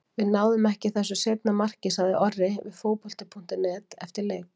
En við náðum ekki þessu seinna marki, sagði Orri við Fótbolti.net eftir leik.